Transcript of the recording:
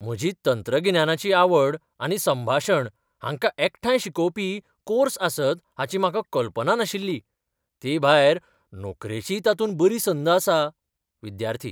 म्हजी तंत्रगिन्यानाची आवड आनी संभाशण हांकां एकठांय शिकवपी कोर्स आसत हाची म्हाका कल्पना नाशिल्ली, तेभायर नोकरेचीय तातूंत बरी संद आसा. विद्यार्थी